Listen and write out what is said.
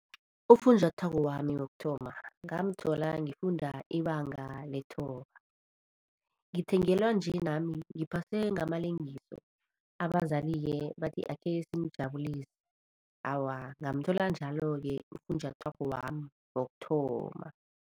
Ufunjathwako wami wokuthoma ngamthola ngifunda ibanga lethoba. Ngithengelwa nje nami ngiphase ngamalengiso abazali-ke bathi akhe simujabulise. Awa, ngamthola njalo-ke ufunjathwako wami wokuthoma.